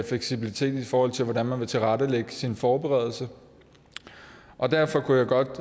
fleksibilitet i forhold til hvordan man vil tilrettelægge sin forberedelse og derfor kunne jeg godt